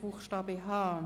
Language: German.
Buchstabe h.